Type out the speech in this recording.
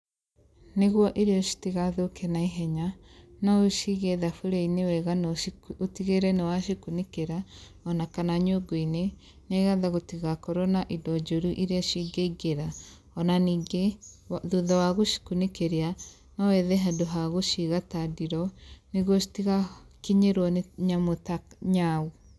Nĩguo irio citigathũke na ihenya, no ũcige thaburia-inĩ wega na ũtigĩrĩre nĩwacikunĩkĩra kana nyungui-nĩ nĩgetha gũtigakorwo na indo njũru iria cingĩingĩra, ona ningĩ thutha wa gũcikunĩkĩria, no wethe handu ha gũciga ta ndiroo nĩguo citigakinyĩrwo nĩ nyamũ ta nyau.